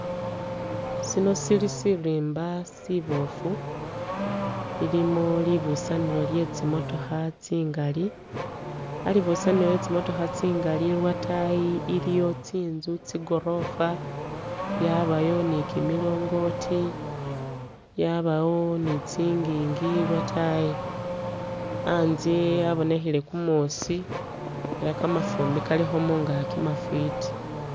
Sino sili siriimba sibofu, ilimo libusanilo lye tsimotokha tsingali, alibusanilo lye tsimotakha tsingali iliwo lwatayi iliwo tsinzu, tsigorofa, yabayo ni kimilongoti, yabawo ni tsingingi lwatayi, anzye abonekhile kumuusi ela kafumbi kalikho mungaki mafwiti.